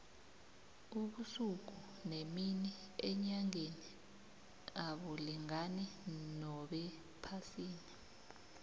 ubusuku nemini enyangeni abulingani nobephasini